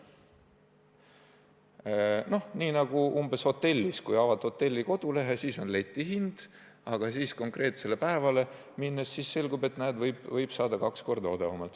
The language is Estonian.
Umbes nii nagu hotellis: kui avad hotelli kodulehe, siis on letihind, aga konkreetsele päevale liikudes selgub, et võib saada kaks korda odavamalt.